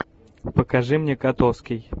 покажи мне котовский